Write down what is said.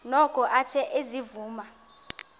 noko athe ezivuma